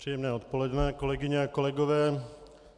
Příjemné odpoledne, kolegyně a kolegové.